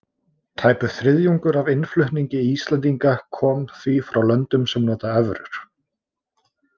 Tæpur þriðjungur af innflutningi Íslendinga kom því frá löndum sem nota evrur.